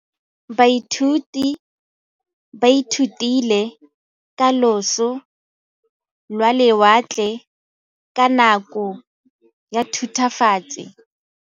Baithuti ba ithutile ka losi lwa lewatle ka nako ya Thutafatshe.